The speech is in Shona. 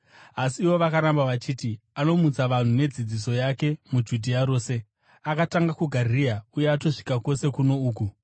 Asi ivo vakaramba vachiti, “Anomutsa vanhu nedzidziso yake muJudhea rose. Akatanga kuGarirea uye atosvika kwose kuno uku.”